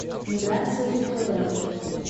миграции федоровой